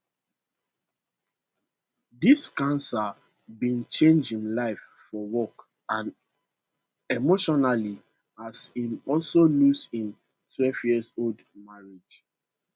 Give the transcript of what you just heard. dis cancer bin change im life for work and emotionally as im also lose im 12yearold marriage